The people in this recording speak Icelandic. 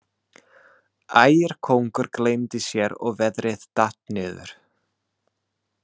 Ægir kóngur gleymdi sér og veðrið datt niður.